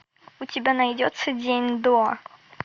у тебя найдется день до